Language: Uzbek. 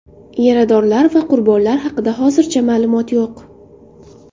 Yaradorlar va qurbonlar haqida hozircha ma’lumot yo‘q.